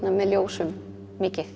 með ljósum mikið